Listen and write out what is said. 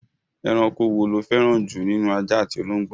Ẹranko wo lo fẹ́ràn jù nínú ajá àti ológbò?